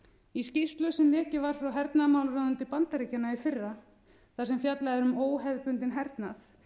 í skýrslu sem lekið var frá hernaðarmálaráðuneyti bandaríkjanna í fyrra þar sem fjallað er um óhefðbundinn hernað